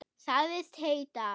Sagðist heita